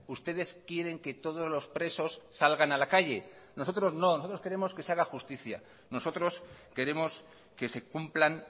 ustedes quieren que todos los presos salgan a la calle nosotros no nosotros queremos que se haga justicia nosotros queremos que se cumplan